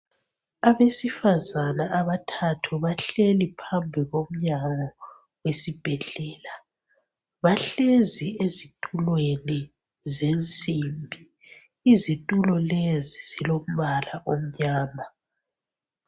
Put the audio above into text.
Abesifazana abathathu bahleli phambi komnyango besibhedlela bahlezi ezithulweni zensimbi izithulo lezi zilombala omnyama